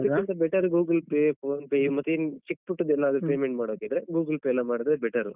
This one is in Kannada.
ಅದೆಲ್ಲದಿಕ್ಕಿಂತ better Google Pay Phonepe ಮತ್ತೆ ಏನ್ ಚಿಕ್ ಪುಟ್ಟದ್ದೇನಾದ್ರೂ payment ಮಾಡೋಕಿದ್ರೆ Google Pay ಎಲ್ಲಾ ಮಾಡಿದ್ರೆ better .